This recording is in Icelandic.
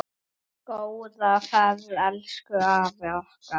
Góða ferð elsku afi okkar.